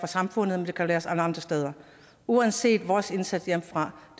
samfundet og det kan læres alle andre steder uanset vores indsats hjemmefra